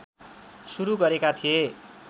सुरु गरेका थिए